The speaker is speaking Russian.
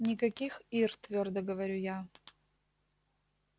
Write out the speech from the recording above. никаких ир твёрдо говорю я